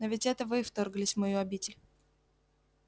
но ведь это вы вторглись в мою обитель